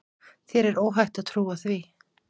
Þér er óhætt að trúa því.